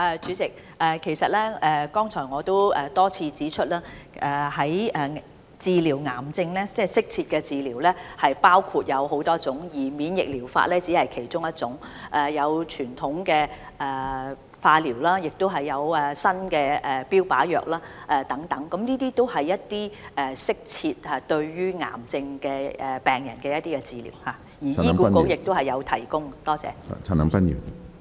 主席，其實我剛才已多次指出，適切治療癌症有很多種方法，而免疫療法只是其中一種，例如還有傳統化療、新的標靶藥物治療等，這些均為對癌症病人的適切治療，而醫管局亦有提供這些治療方法。